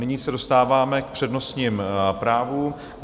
Nyní se dostáváme k přednostním právům.